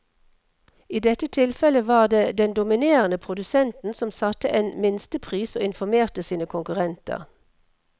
I dette tilfellet var det den dominerende produsenten som satte en minstepris og informerte sine konkurrenter.